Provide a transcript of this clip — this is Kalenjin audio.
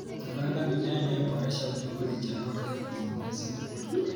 Kupanda mimea inayoboresha udongo ni njia bora ya kuongeza rutuba.